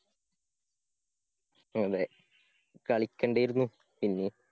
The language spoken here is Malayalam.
അതെ കളിക്കണ്ടാരുന്നു പിന്നേം.